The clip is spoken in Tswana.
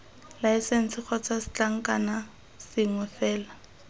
laesense kgotsa setlankna sengwe fela